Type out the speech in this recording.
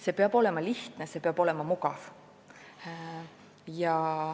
See peab olema lihtne, see peab olema mugav.